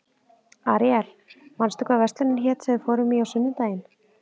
Aríel, manstu hvað verslunin hét sem við fórum í á sunnudaginn?